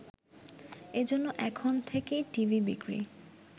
এজন্য এখন থেকেই টিভি বিক্রি